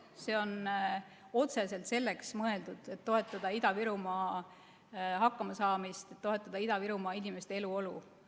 See on mõeldud otseselt selleks, et toetada Ida-Virumaa hakkamasaamist, toetada Ida-Virumaa inimeste eluolu.